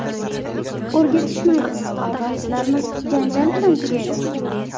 O‘rgatishmaydi, majlislarimiz janjal bilan tugaydi.